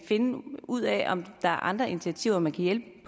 finde ud af om der er andre initiativer man kan hjælpe